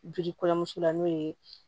Joli kɔɲɔmuso la n'o ye